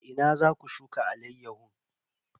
A ina za ku shuka alayyahun?